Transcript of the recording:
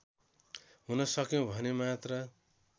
हुन सक्यौं भने मात्र